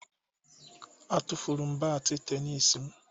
Atufuru m bat tenis m